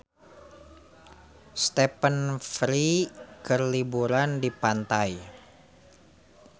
Stephen Fry keur liburan di pantai